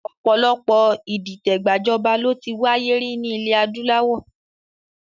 Ọ̀pọ̀lọpọ̀ ìdìtẹ̀ gbajọba ló ti wáyé rí ní ilẹ̀ adúláwọ̀